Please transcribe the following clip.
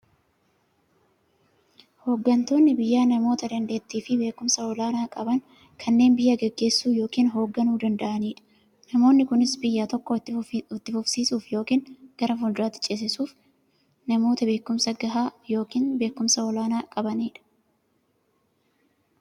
Hooggantoonni biyyaa namoota daanteettiifi beekumsa olaanaa qaban, kanneen biyya gaggeessuu yookiin hoogganuu danda'aniidha. Namoonni kunis, biyya tokko itti fufsiisuuf yookiin gara fuulduraatti ceesisuuf, namoota beekumsa gahaa yookiin beekumsa olaanaa qabaniidha.